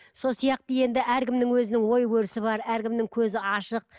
сол сияқты енді әркімнің өзінің ой өрісі бар әркімнің көзі ашық